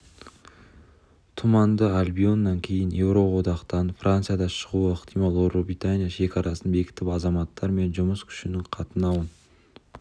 тұманды альбионнан кейін еуроодақтан франция да шығуы ықтимал ұлыбритания шекарасын бекітіп азаматтар мен жұмыс күшінің қатынауын